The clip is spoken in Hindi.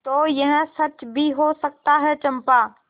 तो यह सच भी हो सकता है चंपा